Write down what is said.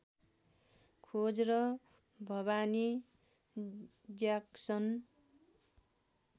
खोज र भवानी ज्याक्सन